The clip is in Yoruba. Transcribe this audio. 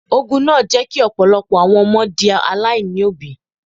Ogun náà jẹ́ kí ọ̀pọ̀lọpọ̀ àwọn di aláìní òbí.